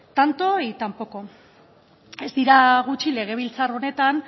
tanto y tan poco ez dira gutxi legebiltzar honetan